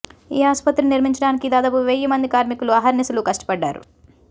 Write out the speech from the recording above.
ఈ ఆసుపత్రిని నిర్మించడానికి దాదాపు వెయ్యి మంది కార్మికులు అహర్నిశలు కష్టపడ్డారు